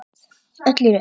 Öll í röð.